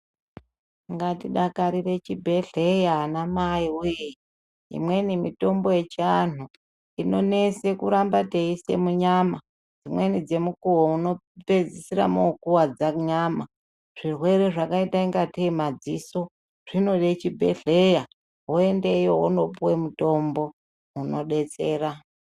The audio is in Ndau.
Ngatidakarire chibhedhleya amaiwee imweni mitombo yechiantu inonesa kuramba teiisa munyama, dzimweni ngemukuwo munopedzisira mokuwadza nyama zvirwere zvakaita ingatei madziso zvinode chibhedhleya woendeyo wondopuwa mutombo unodetsera.